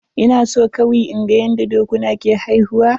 Ina so kawi inga yanda dokuna ke haifuwa.